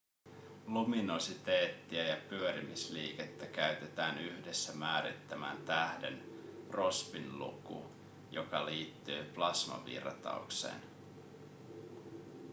luminositeettia ja pyörimisliikettä käytetään yhdessä määrittämään tähden rossbyn luku joka liittyy plasmavirtaukseen